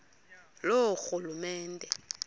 loorhulumente